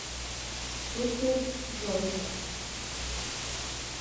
супер жорик